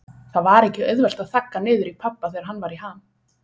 Það var ekki auðvelt að þagga niður í pabba þegar hann var í ham.